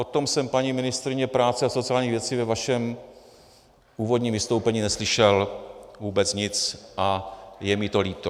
O tom jsem, paní ministryně práce a sociálních věcí, ve vašem původním vystoupení neslyšel vůbec nic a je mi to líto.